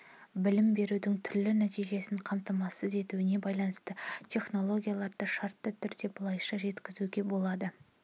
білім берудің түрлі нәтижесін қамтамасыз етуіне байланысты технологияларды шартты түрде былайша жіктеуге болады